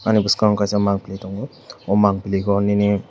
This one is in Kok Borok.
ani boskango kaisa mangpholoi tango o mangpiligo nini.